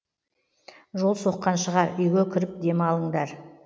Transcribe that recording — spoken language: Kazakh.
жол соққан шығар үйге кіріп демалыңдар